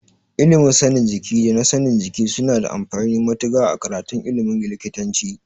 Ilimin sanin jiki da na sanin aikin jiki suna da amfani matuƙa a karatun ilimin likitanci.